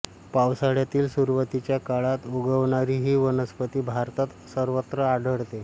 पावसाळ्यातील सुरवातीच्या काळात उगवणारी ही वनस्पती भारतात सर्वत्र आढळते